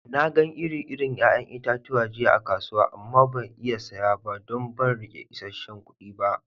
Na gan ire-iren yayan itatuwa jiya a'kasuwa amma ban iya saya ba don ban rike isesen kudi ba.